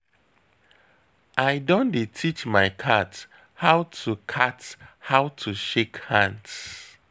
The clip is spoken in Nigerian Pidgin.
I don dey teach my cat how to cat how to shake hands.